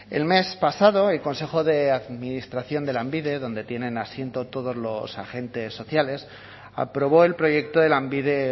el mes pasado el consejo de administración de lanbide donde tienen asiento todos los agentes sociales aprobó el proyecto de lanbide